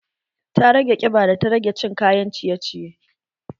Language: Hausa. Ta rage ƙiba da ta rage cin kayan ciye ciye